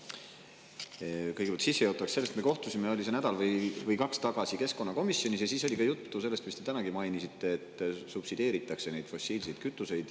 Kõigepealt sissejuhatuseks sellest, et me kohtusime nädal või kaks tagasi keskkonnakomisjonis ja siis oli ka juttu sellest, mida te tänagi mainisite: et subsideeritakse fossiilseid kütuseid.